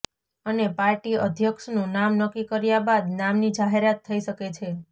અને પાર્ટી અધ્યક્ષનું નામ નક્કી કર્યા બાદ નામની જાહેરાત થઇ શકે છે